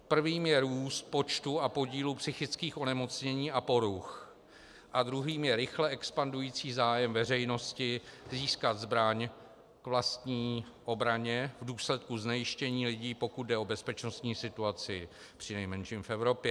Prvým je růst počtu a podílu psychických onemocnění a poruch a druhým je rychle expandující zájem veřejnosti získat zbraň k vlastní obraně v důsledku znejistění lidí, pokud jde o bezpečnostní situaci přinejmenším v Evropě.